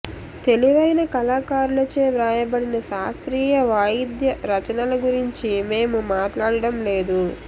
తెలివైన కళాకారులచే వ్రాయబడిన శాస్త్రీయ వాయిద్య రచనల గురించి మేము మాట్లాడము లేదు